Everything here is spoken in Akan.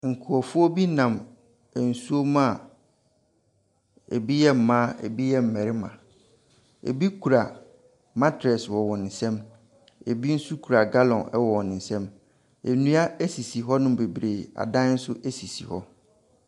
Nkurɔfoɔ bi nam nsuo mu a bi yɛ mmaa, bi yɛ mmarima. Bi kura mattress wɔ wɔn nsam na bi nso kura gallon wɔ wɔn nsam. Nnua sisi hɔnom bebree, adan nso sisi hɔ.